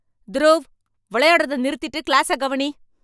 துருவ், விளையாடுறத நிறுத்திட்டு கிளாஸ கவனி.